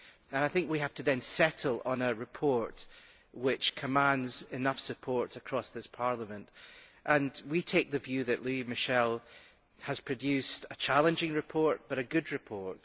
I think we have to settle on a report which commands enough support across this Parliament. We take the view that Louis Michel has produced a challenging report, but a good report.